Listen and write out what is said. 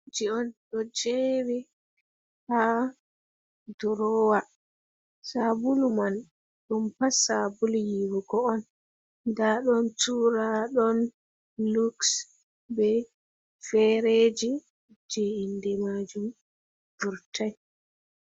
Jen on ɗo jeri ha ɗow ɗurowa. Sabulu man ɗum pat sabulu yiwugo on. Nɗa ɗon tura, ɗon luks, be fereji je inɗe majum burtai.